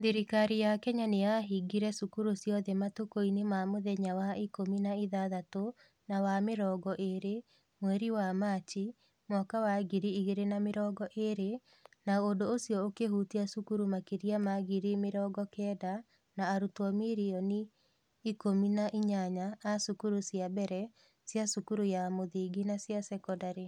Thirikari ya Kenya nĩ yahingire cukuru ciothe matukũinĩ ma mũthenya wa ikũmi na ĩthathatũ na wa mĩrongo ĩĩrĩ, mweri wa Machi, mwaka wa ngiri igĩrĩ na mĩrongo ĩĩrĩ, na ũndũ ũcio ũkĩhutia cukuru makĩria ma ngiri mĩrongo kenda na arutwo milioni mirioni ikũmi na inyanya a cukuru cia mbere, cia cukuru ya mũthingi na cia sekondarĩ.